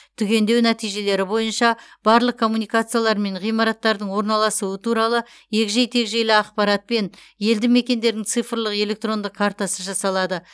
түгендеу нәтижелері бойынша барлық коммуникациялар мен ғимараттардың орналасуы туралы егжей тегжейлі ақпаратпен елді мекендердің цифрлық электрондық картасы жасалады